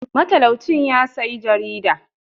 Matalau cin yasiya jarida.